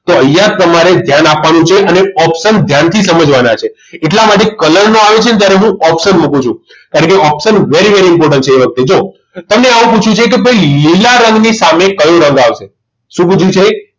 તો અહીંયા તમારે ધ્યાન આપવાનું છે અને option ધ્યાનથી સમજવાના છે એટલા માટે colour આવે છે ત્યારે હું option મુકું છું એટલે કે option very very important છે એ વખતે જુઓ તમને આવું પૂછ્યું છે કે ભાઈ લીલા રંગની સામે કયો રંગ આવશે શું પૂછ્યું છે